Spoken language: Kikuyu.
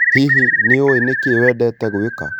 Hihi nĩ ũĩ nĩkĩ wendete gwĩka?